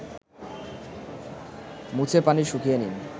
মুছে পানি শুকিয়ে নিন